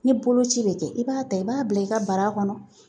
Ni boloci bɛ kɛ i b'a ta i b'a bila i ka bara kɔnɔ